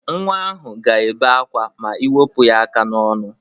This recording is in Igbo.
Nwa ahụ ga-ebe akwa ma ị wepụ ya aka n'ọnụ